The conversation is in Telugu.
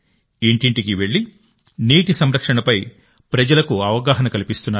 ఇంటింటికీ వెళ్లి నీటి సంరక్షణపై ప్రజలకు అవగాహన కల్పిస్తున్నారు